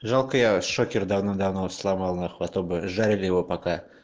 жалко я шокер давным давно вот сломал нахуй а то бы жарили его пока